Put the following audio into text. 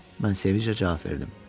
Mən sevinclə cavab verdim.